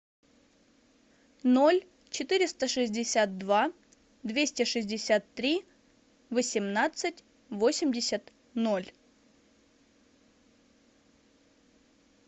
ноль четыреста шестьдесят два двести шестьдесят три восемнадцать восемьдесят ноль